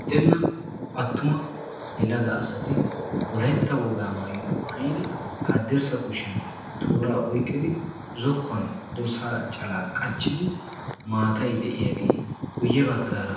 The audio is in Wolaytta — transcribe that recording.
Unddenna attuma yelaga asati wolaytta wogaa maayuwa maayidi haddirssa kushiyan tooraa oyqqidi zokkuwan dorssaa calaa qachchidi maatayi de"iyagee guyye baggaara